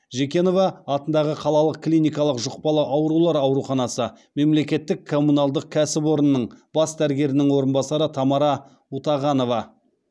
жекенова атындағы қалалық клиникалық жұқпалы аурулар ауруханасы мемлекеттік коммуналдық кәсіпорынның бас дәрігерінің орынбасары тамара утағанова